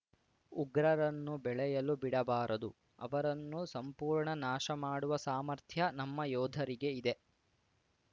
ಉಗ್ರರನ್ನು ಬೆಳೆಯಲು ಬಿಡಬಾರದು ಅವರನ್ನು ಸಂಪೂರ್ಣ ನಾಶ ಮಾಡುವ ಸಾಮರ್ಥ್ಯ ನಮ್ಮ ಯೋಧರಿಗೆ ಇದೆ